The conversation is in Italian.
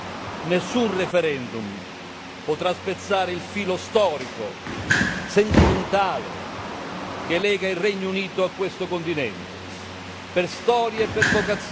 Nessun referendum potrà spezzare il filo storico, sentimentale che lega il Regno Unito a questo continente, per storia e per vocazione.